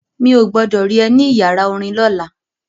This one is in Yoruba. Mi ò gbọdọ̀ rí ẹ ní ìyàrá orin lọ́la.